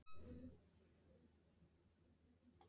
Magnús Hlynur: Og ert þú ánægður með þetta?